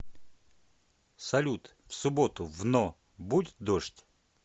салют в субботу в но будет дождь